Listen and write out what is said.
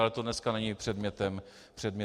Ale to dneska není předmětem jednání.